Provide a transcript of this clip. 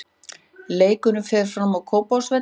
Leikurinn fer fram á Kópavogsvelli.